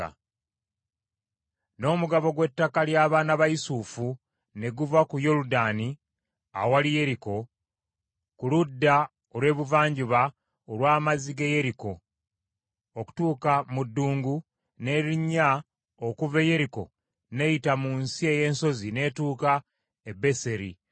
N’omugabo gw’ettaka ly’abaana ba Yusufu ne guva ku Yoludaani awali Yeriko ku ludda olw’ebuvanjuba olw’amazzi g’e Yeriko, okutuuka mu ddungu, n’erinnya okuva e Yeriko n’eyita mu nsi ey’ensozi n’etuuka e Beseri